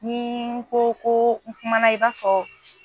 ni n ko ko kumana i b'a fɔ.